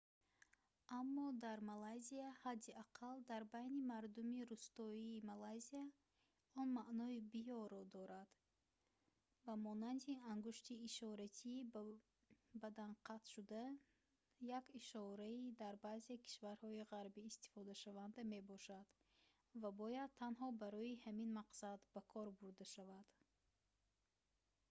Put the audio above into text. аммо дар малайзия ҳадди аққал дар байни мардуми рустоии малайзия он маънои «биё»-ро дорад ба монанди ангушти ишоратии ба бадан қатшуда як ишораи дар баъзе кишварҳои ғарбӣ истифодашаванда мебошад ва бояд танҳо барои ҳамин мақсад ба кор бурда шавад